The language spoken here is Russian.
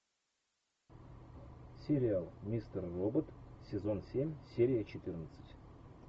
сериал мистер робот сезон семь серия четырнадцать